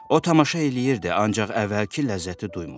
O tamaşa eləyirdi, ancaq əvvəlki ləzzəti duymurdu.